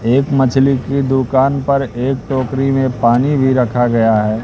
एक मछली की दुकान पर एक टोकरी में पानी भी रखा गया है।